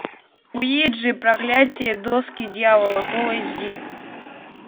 уиджи проклятие доски дьявола фул эйч ди